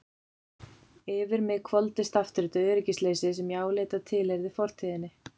Yfir mig hvolfdist aftur þetta öryggisleysi sem ég áleit að tilheyrði fortíðinni.